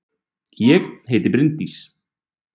Ég heiti Bryndís!